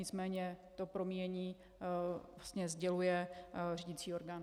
Nicméně to promíjení vlastně sděluje řídicí orgán.